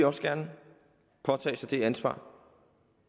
også gerne vil påtage sig det ansvar